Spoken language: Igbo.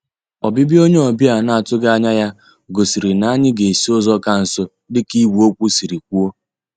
Ọbịbịa onye ọbịa ahụ ana-atụghị anya ya gosiri na anyị ga-esi ụzọ ka nso dịka ìgwè okwu siri kwuo